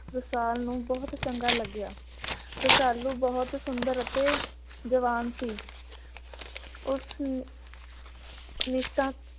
ਰਸਾਲ ਨੂੰ ਬਹੁਤ ਚੰਗਾ ਲਗਿਆ। ਰਸਾਲੂ ਨੂੰ ਬਹੁਤ ਸੁੰਦਰ ਅਤੇ ਜਵਾਨ ਸੀ। ਉਸ ਨਿਸ਼ਠਾ